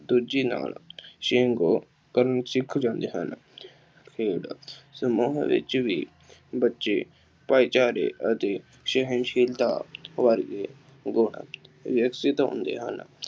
ਦੂਜੇ ਨਾਲ ਕਰਨਾ ਸਿੱਖ ਜਾਂਦੇ ਹਨ। ਖੇਡ ਸਮੂਹ ਵਿੱਚ ਵੀ ਬੱਚੇ ਭਾਈਚਾਰੇ ਅਤੇ ਸਹਿਣਸ਼ੀਲਤਾ ਵਗੈਰਾ ਵਿਕਸਿਤ ਹੁੰਦੇ ਹਨ।